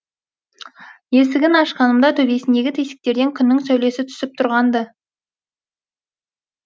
есігін ашқанымда төбесіндегі тесіктерден күннің сәулесі түсіп тұрған ды